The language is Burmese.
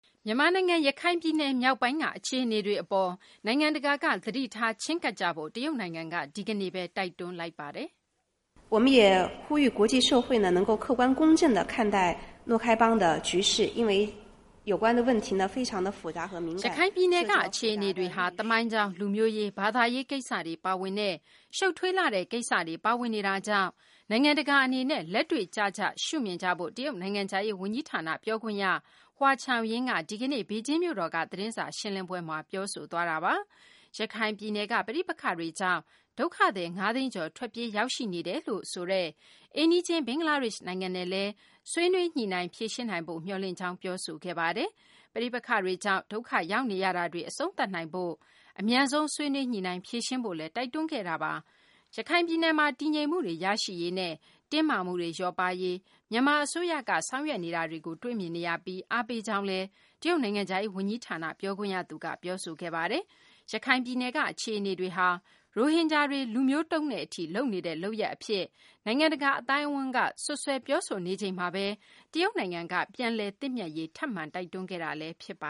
မြန်မာနိုင်ငံ ရခိုင်ပြည်နယ် မြောက်ပိုင်းက အခြေအနေတွေအပေါ် နိုင်ငံတကာက သတိထားချဉ်းကပ်ကြဖို့ တရုတ်နိုင်ငံက ဒီကနေ့ပဲ တိုက်တွန်းလိုက်ပါတယ်။ "ရခိုင်ပြည်နယ်က အခြေအနေတွေဟာ သမိုင်းကြောင်း၊ လူမျိုးရေး၊ ဘာသာရေး ကိစ္စတွေ ပါဝင်တဲ့ ရှုပ်ထွေးလှတဲ့ ကိစ္စတွေ ပါဝင်နေတာကြောင့် နိုင်ငံတကာအနေနဲ့ လက်တွေ့ကျကျက ရှုမြင်ကြဖို့ "တရုတ်နိုင်ငံခြားရေး ဝန်ကြီးဌာန ပြောခွင့်ရသူ Hua Chunying က ဒီကနေ့ ဘေဂျင်းမြို့တော်က သတင်းစာရှင်းလင်းပွဲမှာ ပြောဆိုသွားတာပါ။ ရခိုင်ပြည်နယ်က ပဋိပက္ခတွေကြောင့် ဒုက္ခသည် ၅ သိန်းကျော် ထွက်ပြေးရောက်ရှိနေတယ်လို့ဆိုတဲ့ အိမ်နီးချင်း ဘင်္ဂလားဒေ့ရှ် နိုင်ငံနဲ့လည်း ဆွေးနွေးညှိနှိုင်း ဖြေရှင်းနိုင်ဖို့ မျှော်လင့်ကြောင်း ပြောဆိုခဲ့ပါတယ်။ ပဋိပက္ခတွေကြောင့် ဒုက္ခရောက်နေရတာတွေ အဆုံးသတ်နိုင်ဖို့ အမြန်ဆုံး ဆွေးနွေးညှိနှိုင်းဖြေရှင်းဖို့လည်း တိုက်တွန်းခဲ့တာပါ။ ရခိုင်ပြည်နယ်မှာ တည်ငြိမ်မှုတွေ ရရှိရေးနဲ့ တင်းမာမှုတွေ လျော့ပါးရေး မြန်မာအစိုးရက ဆောင်ရွက်နေတာတွေကို တွေ့မြင်နေရပြီး၊ အားပေးကြောင်းလည်း တရုတ်နိုင်ငံခြားရေး ဝန်ကြီးဌာနက ပြောခွင့်ရသူက ပြောဆိုခဲ့ပါတယ်။ ရခိုင်ပြည်နယ်က အခြေအနေတွေဟာ ရိုဟင်ဂျာတွေ လူမျိုးတုံးတဲ့အထိ လုပ်နေတဲ့ လုပ်ရပ်အဖြစ် နိုင်ငံတကာ အသိုင်းအဝန်းက စွပ်စွဲ ပြောဆိုနေချိန်မှာပဲ တရုတ်နိုင်ငံက ပြန်လည်သင့်မြတ်ရေး ထပ်မံတိုက်တွန်းခဲ့တာလည်း ဖြစ်ပ